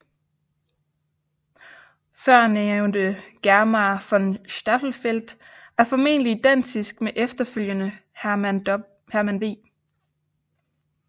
Førnævnte Germar von Staffeldt er formentlig identisk med efterfølgende Herman v